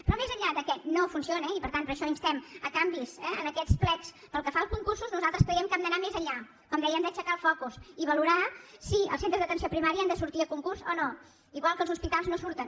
però més enllà que no funciona i per tant per això instem canvis eh en aquests plecs pel que fa a concursos nosaltres creiem que hem d’anar més enllà com dèiem d’aixecar el focus i valorar si els centres d’atenció primària han de sortir a concurs o no igual que els hospitals no surten